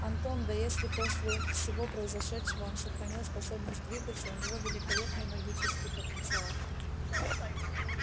антон да если после всего произошедшего он сохранил способность двигаться у него великолепный магический потенциал